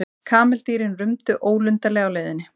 Kameldýrin rumdu ólundarlega á leiðinni.